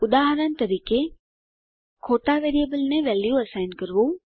ઉદાહરણ તરીકે ખોટાં વેરીએબલને વેલ્યુ અસાઇન કરવું